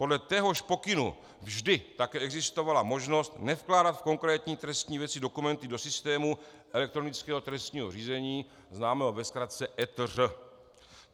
Podle téhož pokynu vždy také existovala možnost nevkládat v konkrétní trestní věci dokumenty do systému elektronického trestního řízení, známého ve zkratce ETŘ.